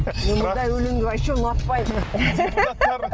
мен мынадай өленді вообще ұнатпаймын